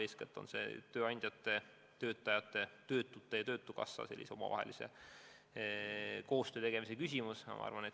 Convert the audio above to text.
Eeskätt on küsimus tööandjate ja töötajate, töötute ja töötukassa omavahelises koostöös.